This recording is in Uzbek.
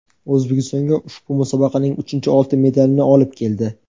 O‘zbekistonga ushbu musobaqaning uchinchi oltin medalini olib keldi.